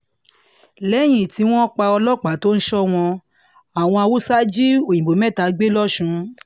lẹ́yìn tí wọ́n pa ọlọ́pàá tó ń sọ wọ́n àwọn haúsá jí òyìnbó mẹ́ta gbé lọ́sùn